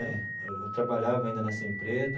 Eu trabalhava ainda nessa empresa,